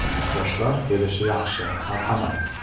Yoshlar kelishi yaxshi, marhamat.